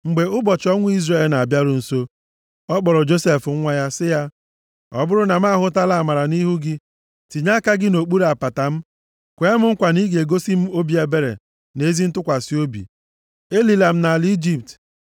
Mgbe ụbọchị ọnwụ Izrel na-abịaru nso, ọ kpọrọ Josef nwa ya sị ya, “Ọ bụrụ na m ahụtala amara nʼihu gị, tinye aka gị nʼokpuru apata m, kwee m nkwa na ị ga-egosi m obi ebere na ezi ntụkwasị obi. Elila m nʼala nʼIjipt.